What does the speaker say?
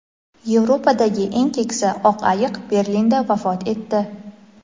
Yevropadagi eng keksa oq ayiq Berlinda vafot etdi.